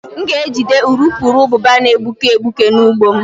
M ga-ejide urukurubụba na-egbuke egbuke na ụgbụ m